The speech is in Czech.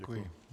Děkuji.